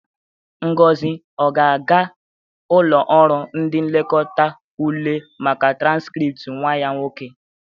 Ngozi ọ ga-aga ụlọ ọrụ ndị nlekọta ule maka transkrịpt nwa ya nwoke?